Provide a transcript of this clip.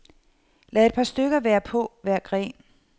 Lad et par stykker være på hver gren.